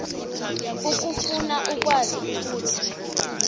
ukufuna ukwazi ukuthi